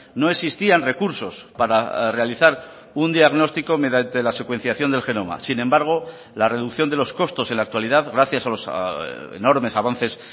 no existían recursos para realizar un diagnóstico mediante la secuenciación del genoma sin embargo la reducción de los costos en la actualidad gracias a los enormes avances